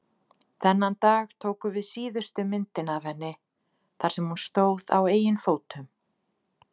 Þennan dag tókum við síðustu myndina af henni þar sem hún stóð á eigin fótum.